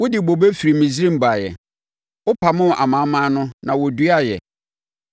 Wode bobe firi Misraim baeɛ; wopamoo amanaman no na woduaaɛ.